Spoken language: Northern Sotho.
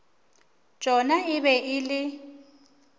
tšona e be e le